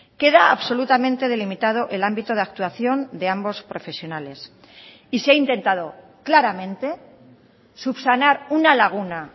queda absolutamente delimitado el ámbito de actuación de ambos profesionales y se ha intentado claramente subsanar una laguna